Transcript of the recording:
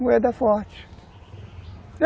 Moeda forte.